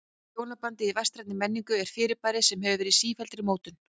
Hjónabandið í vestrænni menningu er fyrirbæri sem hefur verið í sífelldri mótun.